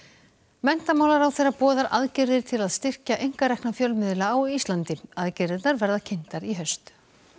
menntamálaráðherra boðar aðgerðir til að styrkja einkarekna fjölmiðla á Íslandi aðgerðirnar verða kynntar í haust